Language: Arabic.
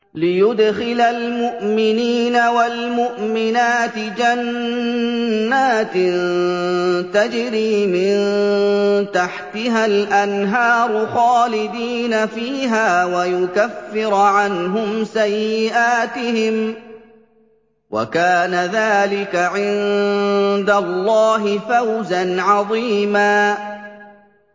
لِّيُدْخِلَ الْمُؤْمِنِينَ وَالْمُؤْمِنَاتِ جَنَّاتٍ تَجْرِي مِن تَحْتِهَا الْأَنْهَارُ خَالِدِينَ فِيهَا وَيُكَفِّرَ عَنْهُمْ سَيِّئَاتِهِمْ ۚ وَكَانَ ذَٰلِكَ عِندَ اللَّهِ فَوْزًا عَظِيمًا